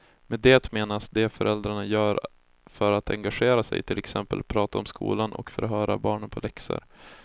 Med det menas det föräldrarna gör för att engagera sig, till exempel prata om skolan och förhöra barnen på läxor.